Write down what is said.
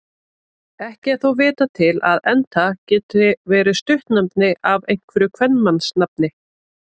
Ekki er þó vitað til að Enta geti verið stuttnefni af einhverju kvenmannsnafni.